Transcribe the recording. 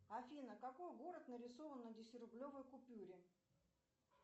афина какой город нарисован на десяти рублевой купюре